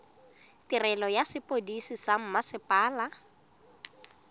tirelo ya sepodisi sa mmasepala